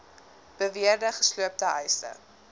beweerde gesloopte huise